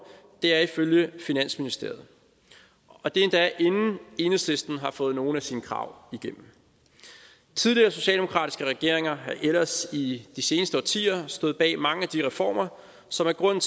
det er ifølge finansministeriet og det er endda inden enhedslisten har fået nogle af sine krav igennem tidligere socialdemokratiske regeringer har ellers i de seneste årtier stået bag mange af de reformer som er grunden